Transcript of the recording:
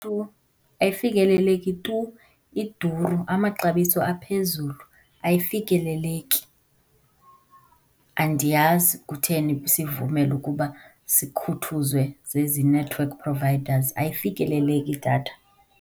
Tu, ayifikeleleki tu, iduru, amaxabiso aphezulu. Ayifikeleleki. Andiyazi kutheni sivumela ukuba sikhuthuzwe zezi network providers, ayifikeleleki idatha.